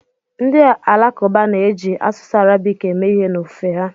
Ndị Alakụba na-eji asụsụ Arabik eme ihe n'ofufe ha.